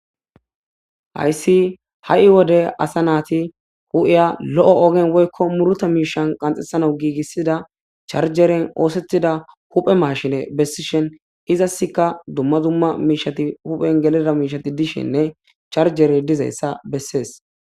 Hayssi ha7i wode asa naati hu7iya lo7o ogen woykko muruta miishan qanxesana giigissida charjeren oosetida huphe mashine bessishen izasska dumma dumma miishati huphen geleda miishati dishenne charjere dizayssa bessees.